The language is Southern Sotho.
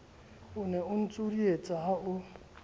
ne o ntjodietsa ha o